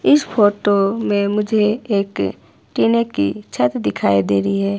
इस फोटो में मुझे एक टीने की छत दिखाई दे रही है।